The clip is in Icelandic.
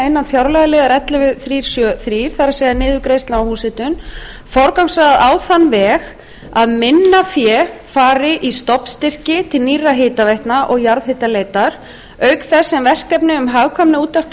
innan fjárlagaliðar ellefu þúsund þrjú hundruð sjötíu og þrjú þar niðurgreiðsla á húshitun forgangsraða á þann veg að minna fé fari í stofnstyrki til nýrra hitaveitna og jarðhitaleitar auk þess sem verkefni um hagkvæma úttekt á